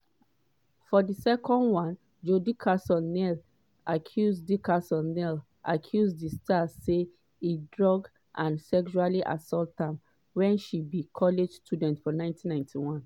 for second one joi dickerson-neal accuse dickerson-neal accuse di star say e drug and sexually assault am wen she be college student for 1991.